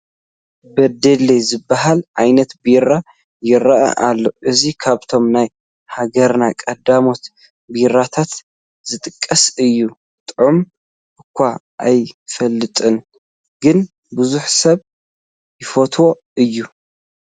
በደሌ ዝበሃል ዓይነት ቤራ ይርአ ኣሎ፡፡ እዚ ካብቶም ናይ ሃገርና ቀዳሞት ቤራታት ዝጥቀስ እዩ፡፡ ጣዕሙ እዃ ኣይፈልጦን፡፡ ግን ብዙሕ ሰብ ይፈትዎ እዩ፡፡